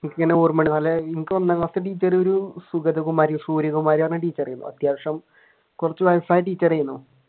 എനിക്കിങ്ങനെ ഓർമയുണ്ട് എനിക്ക് ഒന്നാം ക്ലാസിലെ ടീച്ചർ ഒരു സുഗതകുമാരി സൂര്യകുമാരിയാണ് ടീച്ചർ അത്യാവശ്യം കുറച്ചു വയസായ ടീച്ചർ ആയിരുന്നു.